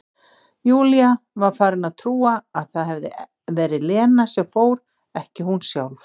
Júlía var farin að trúa að það hefði verið Lena sem fór, ekki hún sjálf.